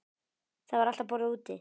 Það var alltaf borðað úti.